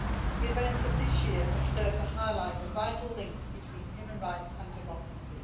The events of this year have served to highlight the vital links between human rights and democracy.